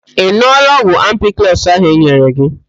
Ị ṅụọla ọgwụ ampiklọs ahụ e nyere gị